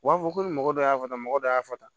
U b'a fɔ ko mɔgɔ dɔ y'a ta mɔgɔ dɔ y'a fɔ tan